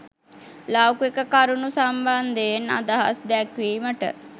ලෞකික කරුණු සම්බන්ධයෙන් අදහස් දැක්වීමට